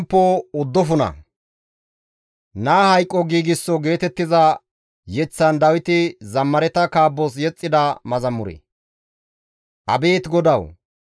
Abeet GODAWU! Tani nena kumeththa wozinappe galatana; malalisiza ne oosoza ubbaaka ta yootana.